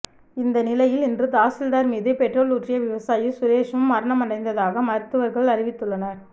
இந்த நிலையில் இன்று தாசில்தார் மீது பெட்ரோல் ஊற்றிய விவசாயி சுரேஷும் மரணமடைந்ததாக மருத்துவர்கள் அறிவித்துள்ளனர்